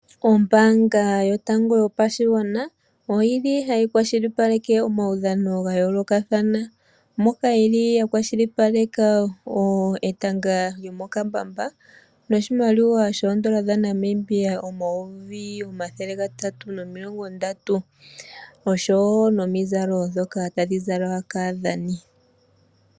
Ombanga yotango yopashingwana oyili hayi kwashilipaleke omawudhano gayoloka thana, moka yeli yakwashilipaleka etanga lyomokambamba noshimaliwa shondola dha Namibia omayovi omathele ngatatu nomilongo ndatu oshowo nomizalo dhoka tadhi zalwa kadhani.